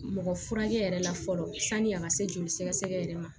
Mɔgɔ furakɛ yɛrɛ la fɔlɔ sani a ka se joli sɛgɛ yɛrɛ ma